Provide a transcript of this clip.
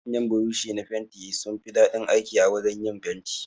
Manyan buroshi na fenti sunfi daɗin aiki a wajan yin fenti.